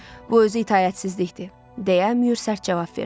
Bu özü itaətsizlikdir, deyə Mühür sərt cavab verdi.